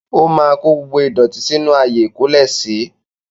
O máa kó gbogbo ìdọ̀tí sí inú ààyè ikólẹ̀si